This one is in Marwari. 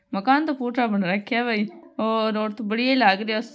मकान तो पुटरा बन राख्या है भाई और और तो बढ़िया ही लाग रिया --